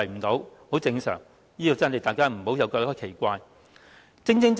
這情況相當正常，大家不要感到奇怪。